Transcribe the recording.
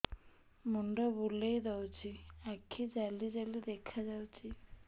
ମୁଣ୍ଡ ବୁଲେଇ ଦଉଚି ଆଖି ଜାଲି ଜାଲି ଦେଖା ଯାଉଚି